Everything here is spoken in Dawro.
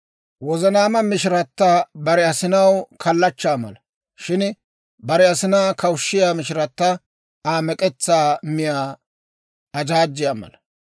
Wozanaama mishirata bare asinaw kallachchaa mala; shin bare asinaa kawushshiyaa mishirata Aa mek'etsaa miyaa ajaajjiyaa mala.